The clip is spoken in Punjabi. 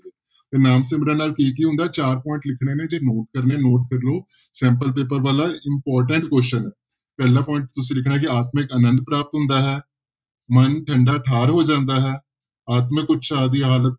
ਤੇ ਨਾਮ ਸਿਮਰਨ ਨਾਲ ਕੀ ਕੀ ਹੁੰਦਾ ਹੈ ਚਾਰ point ਲਿਖਣੇ ਨੇ ਜੇ note ਕਰਨੇ ਆ note ਕਰ ਲਓ sample ਪੇਪਰ ਵਾਲਾ important question ਪਹਿਲਾ point ਤੁਸੀਂ ਲਿਖਣਾ ਕਿ ਆਤਮਿਕ ਆਨੰਦ ਪ੍ਰਾਪਤ ਹੁੰਦਾ ਹੈ, ਮਨ ਠੰਢਾ ਠਾਰ ਹੋ ਜਾਂਦਾ ਹੈ, ਆਤਮਿਕ ਉਤਸ਼ਾਹ ਦੀ ਹਾਲਤ